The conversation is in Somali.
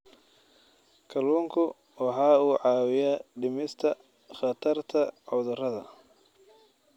Kalluunku waxa uu caawiyaa dhimista khatarta cudurrada.